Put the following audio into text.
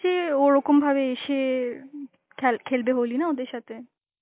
যে ও ওরকম ভাবে এসে উম খেল~ খেলবে হোলি না ওদের সাথে.